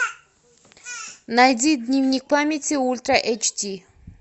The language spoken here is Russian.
найди дневник памяти ультра эйч ди